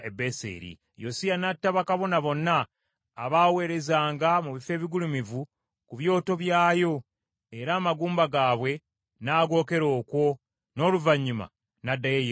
Yosiya n’atta bakabona bonna abaaweerezanga mu bifo ebigulumivu ku byoto byayo, era amagumba gaabwe n’agokera okwo, n’oluvannyuma n’addayo e Yerusaalemi.